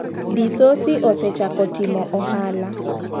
Disosi osechako timo ohala.